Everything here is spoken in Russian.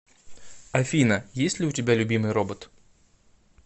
афина есть ли у тебя любимый робот